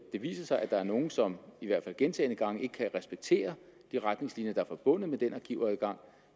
det viser sig at der er nogen som gentagne gange ikke respekterer de retningslinjer der er forbundet med den arkivadgang